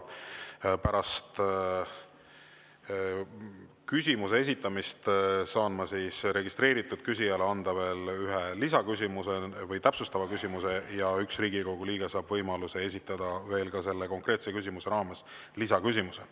Pärast küsimuse esitamist saan ma registreeritud küsijale anda veel ühe täpsustava küsimuse ja üks Riigikogu liige saab võimaluse esitada selle konkreetse küsimuse raames lisaküsimuse.